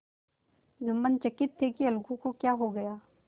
जुम्मन चकित थे कि अलगू को क्या हो गया